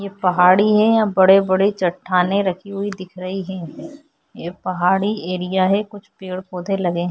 ये पहाड़ी हैं बड़े-बड़े चट्ठाने रखी हुई दिख रही हैं ये पहाड़ी एरिया हैं कुछ पेड़-पौधे लगे हैं।